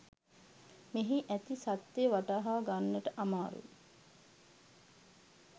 මෙහි ඇති සත්‍ය වටහා ගන්නට අමාරුයි